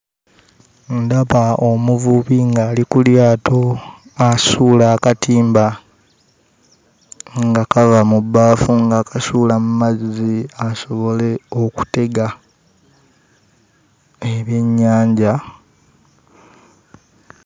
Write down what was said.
Ndaba omuvubi ng'ali ku lyato asuula akatimba nga kava mu bbaafu ng'akasuula mu mazzi asobole okutega ebyennyanja.